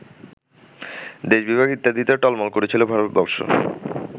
দেশবিভাগ ইত্যাদিতে টলমল করছিল ভারতবর্ষ